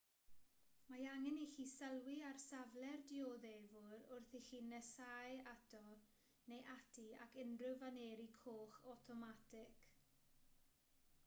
mae angen i chi sylwi ar safle'r dioddefwr wrth i chi nesáu ato neu ati ac unrhyw faneri coch awtomatig